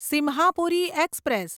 Simhapuri express